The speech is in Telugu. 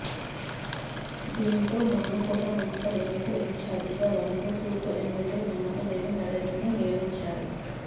దీంతో మానుకోట మున్సిపల్ ఎన్నికల ఇన్చార్జిగా వరంగల్ తూర్పు ఎమ్మెల్యే నన్నపనేని నరేందర్ను నియమించారు